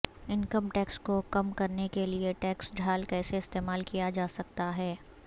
income tax کو کم کرنے کے لئے ٹیکس ڈھال کیسے استعمال کیا جا سکتا ہے